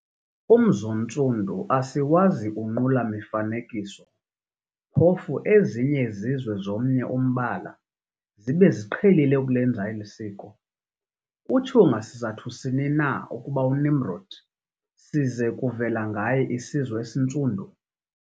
Umz'oNtsundu asiwazi kunqula mifanekiso, phofu ezinye izizwe zomnye umbala, zibe ziqhelile ukulenza eli siko. Kutshiwo ngasizathu sini na ukuba uNimrodi size kuvela ngaye isizwe esiNtsundu?